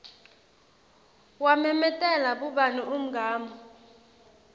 wamemetela bhubhane umgamu